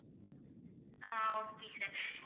ah okay sir